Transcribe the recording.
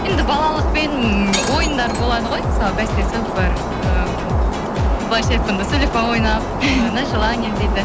енді балалықпен ойындар болады ғой мысалы бәстесіп бір эээ былайша айтқанда сулифа ойнап на желание дейді